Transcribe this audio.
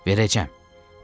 Verəcəyəm.